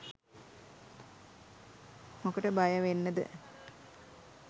මොකට බයවෙන්නද.